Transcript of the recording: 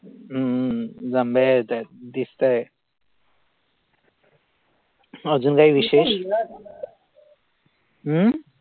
अं जांभळ्या येतात दिसताहेत अजून काही विशेष अं